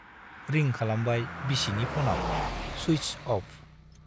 Ring खालामबाय बिसिनि फनाव - सुइटस अफ।